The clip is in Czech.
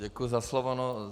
Děkuji za slovo.